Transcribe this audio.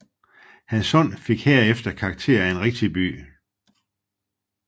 Hadsund fik herefter karakter af en rigtig by